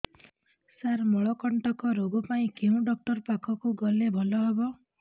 ସାର ମଳକଣ୍ଟକ ରୋଗ ପାଇଁ କେଉଁ ଡକ୍ଟର ପାଖକୁ ଗଲେ ଭଲ ହେବ